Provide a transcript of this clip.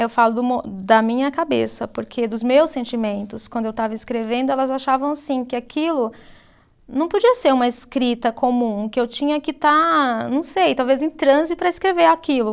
Eu falo do mo, da minha cabeça, porque dos meus sentimentos, quando eu estava escrevendo, elas achavam assim, que aquilo não podia ser uma escrita comum, que eu tinha que estar, não sei, talvez em transe para escrever aquilo.